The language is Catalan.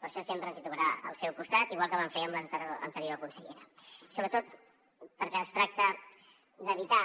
per això sempre ens trobarà al seu costat igual que vam fer amb l’anterior consellera sobretot perquè es tracta d’evitar